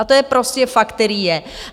A to je prostě fakt, který je.